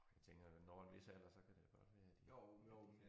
Åh jeg tænker da når en hvis alder så kan det godt være at de at de